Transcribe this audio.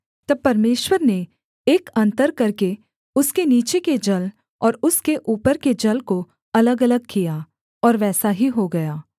तब परमेश्वर ने एक अन्तर करके उसके नीचे के जल और उसके ऊपर के जल को अलगअलग किया और वैसा ही हो गया